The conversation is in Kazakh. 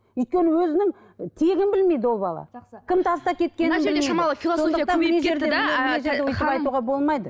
өйткені өзінің і тегін белмейді ол бала